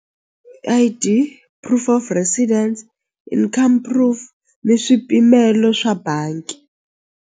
I_D proof of residence income proof ni swipimelo swa bangi.